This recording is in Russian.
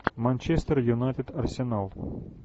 манчестер юнайтед арсенал